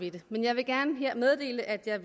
i det men jeg vil gerne her meddele at jeg